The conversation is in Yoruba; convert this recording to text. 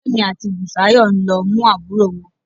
Kẹ́mi àti Bùsáyọ̀ ń lọ mú àbúrò wọn